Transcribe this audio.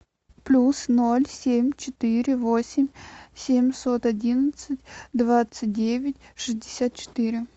плюс ноль семь четыре восемь семьсот одинадцать двадцать девять шестьдесят четыре